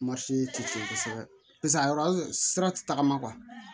tɛ tiɲɛ kosɛbɛ paseke a yɔrɔ sira tɛ tagama